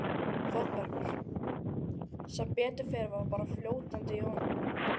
ÞÓRBERGUR: Sem betur fer var bara fljótandi í honum.